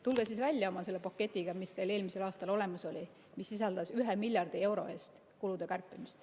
Tulge siis välja oma paketiga, mis teil eelmisel aastal olemas oli ja mis sisaldas 1 miljardi euro eest kulude kärpimist.